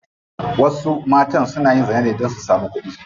Wasu matan suna yin zina ne don su samu kudi.